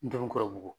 Denw kɔrɔ bugɔ